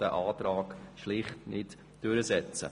dieser Antrag ist schlicht nicht durchsetzbar.